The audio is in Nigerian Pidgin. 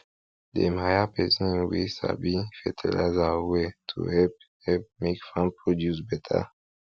dem hire person we sabi fertilizer well to help help make farm produce beta